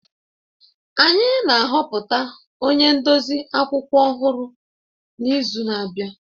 Anyị na-ahọpụta onye ndozi akwụkwọ ọhụrụ n'izu na-abịa